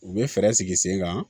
U bɛ fɛɛrɛ sigi sen kan